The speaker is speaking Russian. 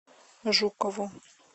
жукову